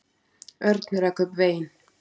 Örn rak upp vein.